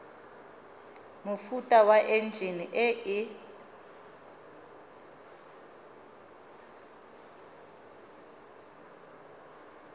mofuta wa enjine e e